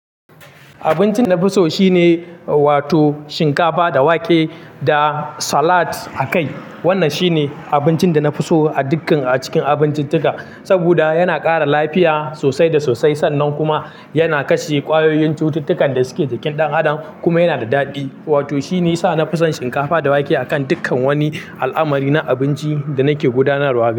Abincin nafi so shine wato shinkafa da wake da salad a kai. Wannan shine abincin da na fi so a dukkan a cikin abincin tuka, saboda yana kara lafiya sosai da sosai sannan kuma yana kashe kwayoyin cututtukan da suke jikin ɗan adam kuma yana da daɗi. Wato shine yasa na fi son shinkafa da wake a kan dukkan wani al'amari na abinci da nake gudanarwa gare shi.